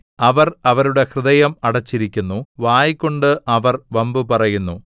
അവർ അവരുടെ ഹൃദയം അടച്ചിരിക്കുന്നു വായ്കൊണ്ട് അവർ വമ്പു പറയുന്നു